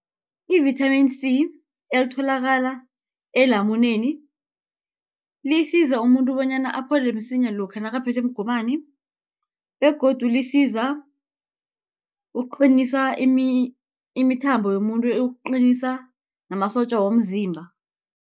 I-vithamini C, elitholakala elamuneni, lisiza umuntu bonyana aphole msinya lokha nakaphethwe mgomani, begodu lisiza ukuqinisa imithambo yomuntu, ukuqinisa namasotja womzimba.